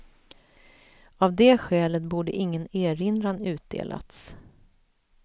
Av det skälet borde ingen erinran utdelats.